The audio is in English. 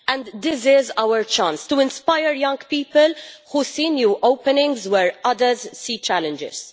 This is our chance to inspire young people, who see new openings where others see challenges.